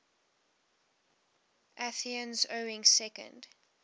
athenians owning second